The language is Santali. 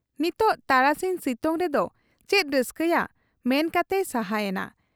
ᱱᱤᱛᱚᱜ ᱛᱟᱨᱟᱥᱤᱧ ᱥᱤᱛᱩᱝ ᱨᱮᱫᱚ ᱪᱮᱫ ᱨᱟᱹᱥᱠᱟᱹᱭᱟ ᱢᱮᱱ ᱠᱟᱛᱮᱭ ᱥᱟᱦᱟ ᱭᱮᱱᱟ ᱾